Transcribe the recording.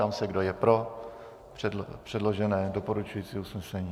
Ptám se, kdo je pro předložené doporučující usnesení.